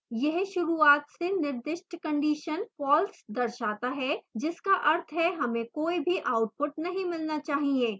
यह शुरूआत से निर्दिष्ट condition false दर्शाता है जिसका अर्थ है हमें कोई भी आउटपुट नहीं मिलना चाहिए